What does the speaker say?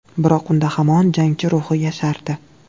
Biroq unda hamon jangchi ruhi yashardi.